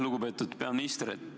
Lugupeetud peaminister!